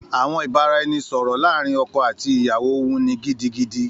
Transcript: Àwọn ìbáraẹnisọ̀rọ̀ láàrin ọkọ àti ìyàwó wuni gidigidi